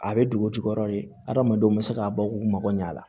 A bɛ dugutigi yɔrɔ de hadamadenw bɛ se ka bɔ k'u mago ɲa a la